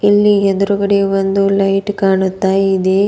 ಇಲ್ಲಿ ಎದ್ರುಗಡೆ ಒಂದು ಲೈಟ್ ಕಾಣುತ್ತಾ ಇದೆ.